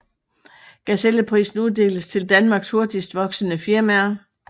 Gazelleprisen uddeles til Danmarks hurtigst voksende firmaer